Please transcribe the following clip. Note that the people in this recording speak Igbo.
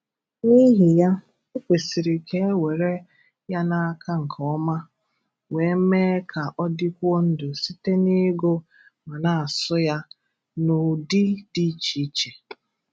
N'ihi ya, o kwesiri ka e were ya n'aka nke ọma, wee mee ka ọ dịkwuo ndụ site n'ịgụ ma na-asụ ya n'ụdị dị iche iche.